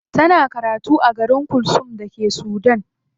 Tana karatu a garin khartoum da ke Sudan.